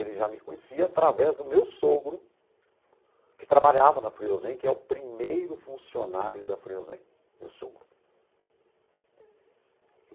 Ele já me conhecia através do meu sogro, que trabalhava na Friozem, que é o primeiro funcionário da Friozem, meu sogro. Uhum.